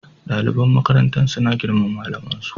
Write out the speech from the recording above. Daliban makarantar suna girmama malamin su